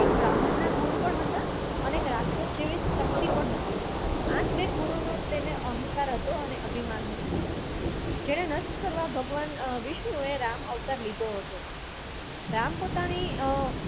એ બ્રાહ્મણ ના ગુણ હતા અને એક રાક્ષસ જેવી શક્તિ ગુરુનો અહંકાર હતો ને અભિમાન હતું જેને નષ્ટ કરવા અ ભગવાન વિષ્ણુ એ રામ અવતાર લીધો હતો રામ પોતાની અ અ